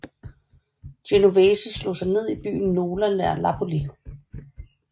Genovese slog sig ned i byen Nola nær Napoli